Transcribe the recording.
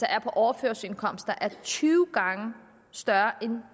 er på overførselsindkomst er tyve gange større end